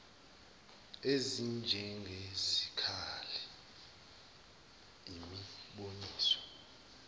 ezinjenge zikali imiboniso